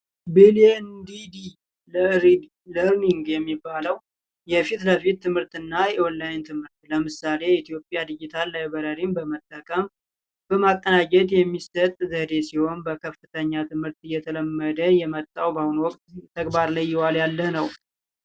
ቢዲኤንዲዲ በመባል የሚታወቀው የዲጂታል ለርኒንግ የፊትለፊት ትምህርትና የኦን ላይን ትምህርት የኢትዮጵያ ዲጂታል ላይብረሪ በመጠቀም በማቀናጀት የሚሰጥ ዘዴ ሲሆን በከፍተኛ ትምህርት እየተለመደ የመጣ በአሁኑ ወቅት በተግባር ላይ እየዋለ ያለ ነው።